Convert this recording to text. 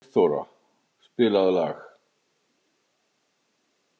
Sigþóra, spilaðu lag.